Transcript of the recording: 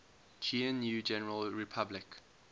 gnu general public